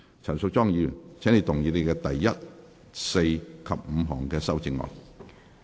陳淑莊議員，請動議你的第一、四及五項修正案。